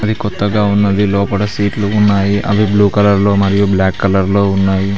అది కొత్తగా ఉన్నది లోపట సీట్లు ఉన్నాయి అవి బ్లూ కలర్ లో మరియు బ్లాక్ కలర్ లో ఉన్నాయి.